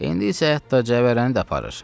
İndi isə hətta cəvərənini də aparır.